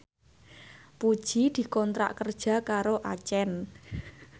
Puji dikontrak kerja karo Accent